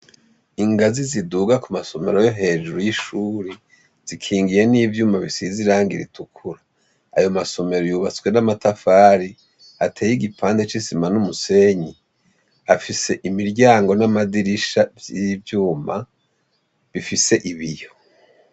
Ingazi ziduga ku masomero yo hejuru y'ishure zikingiye n'ivyuma bisize irangi ritukura. Ayo masomero yubatswe n'amatafari ateye igipande c'isima n'umusenyi, afise imiryango n'amadirisha vy'ivyuma bifise ibiyo.